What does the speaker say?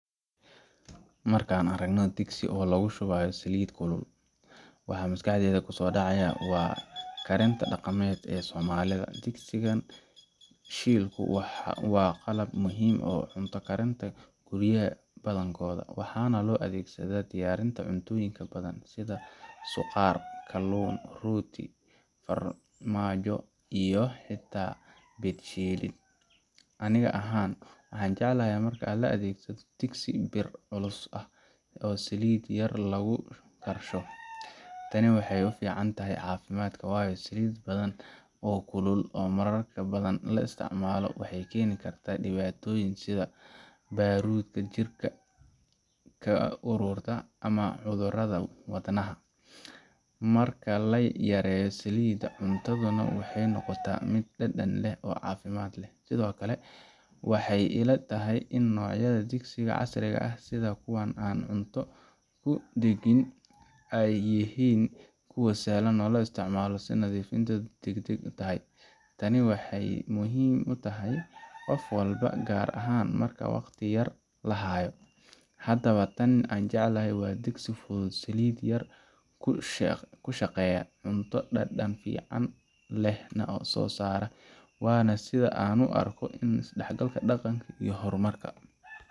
Markan aragno digsi oo lagushuwayo salit kulel, waxa maskaxdeyda kusodaca wa garemka dagamed ee somalida, digsigan shilko wa qalaab muxiim oo cunta karinta guriyaxa madankodha, waxana loadegsada diyarinta cuntoyinka badan, sidha losar kalun iyo rooti, farmajo iyo hita mid shidan, aniga ahan waxan jeclahay marki laadegsado digsi biir culus ah oo saliit yar lagudarsho taani waxay uficantahay cafimad wayoo salit badan oo kulul oo mararka badan laisticmalo waxay keni karta diwatoyin sidha marubka jirka kaarurta ama cudurada wad naha , marka layareyo salita cuntadana waxay nogota mid dadan leh oo cafimad leh, sidhokale waxay ila tahay in nocyada digsiga casriga ah sidha kuwan aan cunto kudigin ay jihin kuwa sahlan oo loisticmalo nadifinta degdeg u tahay taani waxay muhiim utahay gof walbo gaar ahan marka wagti yar lahayo, in aan jeclahay digsi fudud salit yar kushageya cunto dadan fican leh na sosara wana sida aan uarko in isdalgalka daqanka iyo hormarka.